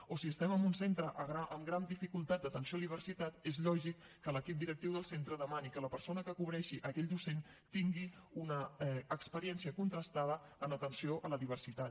o si estem en un centre amb gran dificultat d’atenció a la diversitat és lògic que l’equip directiu del centre demani que la persona que cobreixi aquell docent tingui una experiència contrastada en atenció a la diversitat